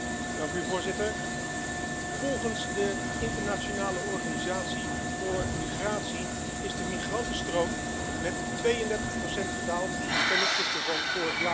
Voorzitter, volgens de Internationale Organisatie voor Migratie is de migrantenstroom met 32 gedaald ten opzichte van vorig jaar.